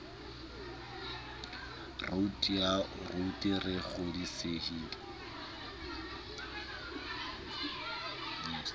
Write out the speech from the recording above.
roud ya wto re kgodisehile